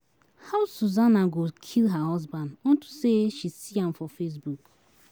How Susanna go kill her husband unto say she see am for Facebook.